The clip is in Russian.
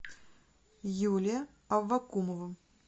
юлия авакумова